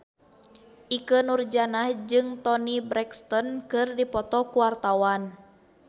Ikke Nurjanah jeung Toni Brexton keur dipoto ku wartawan